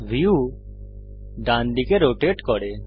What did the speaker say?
view ডানদিকে rotate করে